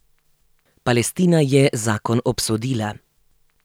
Palestina je zakon obsodila.